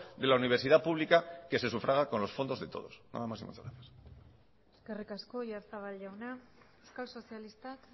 de la universidad pública que se sufraga con los fondos de todos nada más y muchas gracias eskerrik asko oyarzabal jauna euskal sozialistak